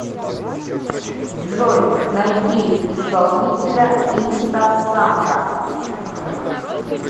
джой найди исполнителя инстасамка